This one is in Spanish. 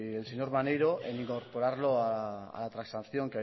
el señor maneiro en incorporarlo a la transacción